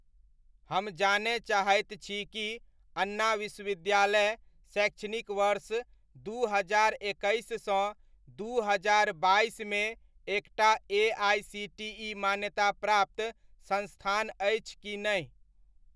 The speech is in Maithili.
हम जानय चाहैत छी कि अन्ना विश्वविद्यालय शैक्षणिक वर्ष दू हजार एकैस सँ दू हजार बाइसमे एकटा एआइसीटीइ मान्याताप्राप्त संस्थान अछि कि नहि?